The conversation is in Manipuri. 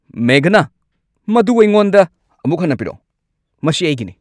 ꯃꯦꯘꯅꯥ, ꯃꯗꯨ ꯑꯩꯉꯣꯟꯗ ꯑꯃꯨꯛ ꯍꯟꯅ ꯄꯤꯔꯛꯎ꯫ ꯃꯁꯤ ꯑꯩꯒꯤꯅꯤ!